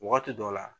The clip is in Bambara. Wagati dɔ la